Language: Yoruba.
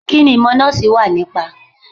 Kí ni ìmọ̀ Nọ́ọ̀sì wà nípa.?